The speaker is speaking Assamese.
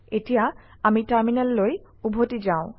এতিয়া আমি টাৰমিনেললৈ উভতি যাওঁ